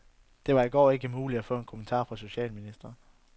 Det var i går ikke muligt at få en kommentar fra socialministeren.